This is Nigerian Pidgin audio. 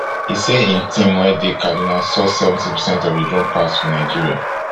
e say im team wey dey kaduna source seventy percent of di drone parts for nigeria